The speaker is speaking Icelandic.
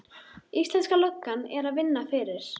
Íslenska löggan er að vinna fyrir